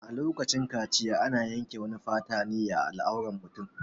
A lokacin kaciya ana yanke wani fata ne a al'auran mutum